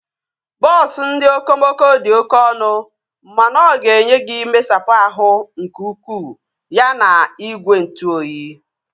Bọọsu ndị okomoko dị oké ọnụ mana oga enye gị mmesapụ ahụ nke ukwuu ya na igwe ntụ oyi